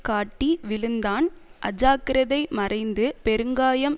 காட்டி விழுந்தான் அஜாக்கிரதை மறைந்து பெருங்காயம்